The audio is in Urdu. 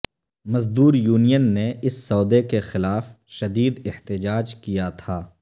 مزدور یونین نے اس سودے کے خلاف شدید احتجاج کیا تھا